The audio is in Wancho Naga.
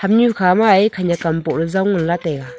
hamnyu khama e khanak am boh jaw ngan lah taiga.